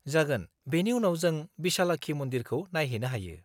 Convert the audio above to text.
-जागोन, बेनि उनाव जों बिशालाक्षी मन्दिरखौ नायहैनो हायो।